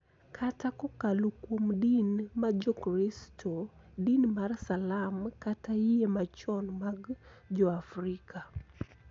Kata kokalo kuom din ma Jokristo, din mar Salam, kata yie machon mag Joafrika,